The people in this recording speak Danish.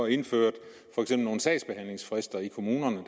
indførte nogle sagsbehandlingsfrister i kommunerne